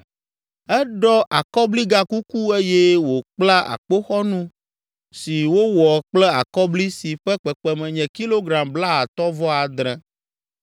Eɖɔ akɔbligakuku eye wòkpla akpoxɔnu si wowɔ kple akɔbli si ƒe kpekpeme nye kilogram blaatɔ̃-vɔ-adre.